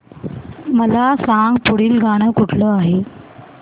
मला सांग पुढील गाणं कुठलं आहे